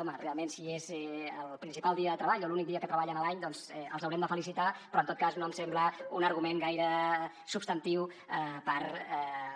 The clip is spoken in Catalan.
home realment si és el principal dia de treball o l’únic dia que treballen a l’any doncs els haurem de felicitar però en tot cas no em sembla un argument gaire substantiu per